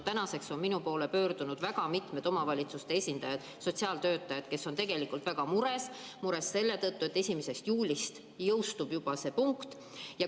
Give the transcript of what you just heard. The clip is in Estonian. Tänaseks on minu poole pöördunud väga mitmed omavalitsuste esindajad, sotsiaaltöötajad, kes on väga mures, sest juba 1. juulist jõustub see punkt.